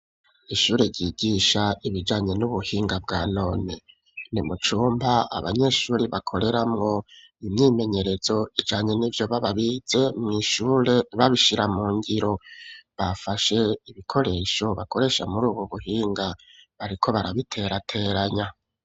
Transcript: Ishure ryigisha ibijanye n'ubuhinga bwa none nimucumba abanyeshuri bakoreramwo imyimenyerezo ijanye ni vyo bababize mw'ishure babishira mu ngiro bafashe ibikoresho bakoresha muri, ubu buhinga bariko barabiterateranya.